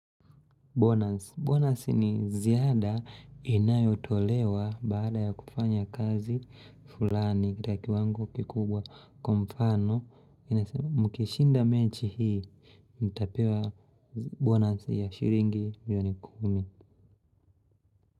Bonus. Bonus ni ziada inayotolewa baada ya kufanya kazi fulani. Kitaki wangu kikubwa kwa mfano. Inasema mkishinda mechi hii, mtapewa bonus ya shilingi milioni kumi.